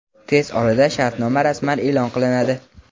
Tez orada shartnoma rasman e’lon qilinadi.‌‌.